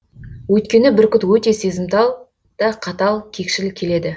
өйткені бүркіт өте сезімтал да қатал кекшіл келеді